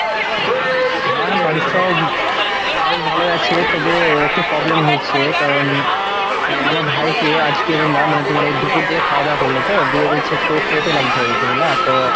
হ্যাঁ, বাড়ির সব বেশ ভালোই আছে, তবে একটু problem হয়েছে কারণ অ্যাঁ আমার ভাইকে আজকে বুঝলা মানে তোমার এই দুপুর দিয়ে খাওয়া দাওয়া করল তো দিয়ে বলছে একটু পেটে লাগছে বলছে বুঝলা তো